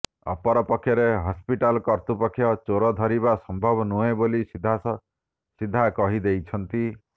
ଅପରପକ୍ଷରେ ହସ୍ପିଟାଲ କର୍ତୃପକ୍ଷ ଚୋର ଧରିବା ସମ୍ଭବ ନୁହେଁ ବୋଲି ସିଧାସିଧା କହି ଦେଇଛନ୍ତି